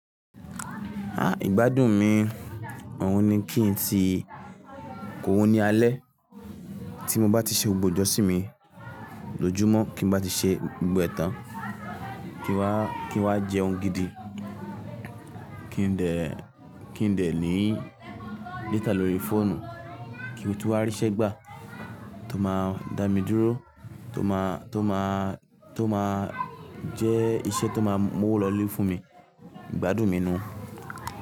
Igbádùn mi òun ni kí n ti, kò wóni alẹ́ tí mo bá ti ṣe ògbò ijọ́ sí mi, lójúmọ́ kí n bá ti ṣe gbogbo ẹ̀tàn, kí n wá, kí n wá jẹun gidi, kí n dẹ, kí n dẹ ní data lórí fóònù, kí mo tún wá ríṣẹ́ gbà tó máa dá mi dúró, tó máa, tó máa, tó máa jẹ́ iṣẹ́ tó máa mú òwò lọ́lẹ̀ fún mi, Ìgbádùn mi nù.